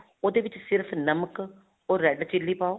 ਉਹਦੇ ਵਿੱਚ ਸਿਰਫ ਨਮਕ or red chili ਪਾਓ